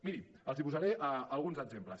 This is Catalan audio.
miri els posaré alguns exemples